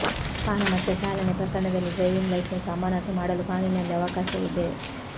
ಪಾನಮತ್ತ ಚಾಲನೆ ಪ್ರಕರಣದಲ್ಲಿ driving licence ಅಮಾನತು ಮಾಡಲು ಕಾನೂನಿನಲ್ಲಿ ಅವಕಾಶವಿದೆ